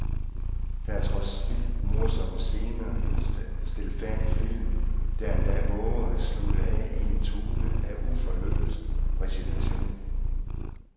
Der er trods vildt morsomme scener en stilfærdig film, der endda vover at slutte af i en tone af uforløst resignation.